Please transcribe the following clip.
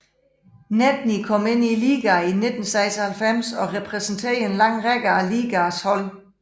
Nedney kom ind i ligaen i 1996 og repræsenterede en lang række af ligaens hold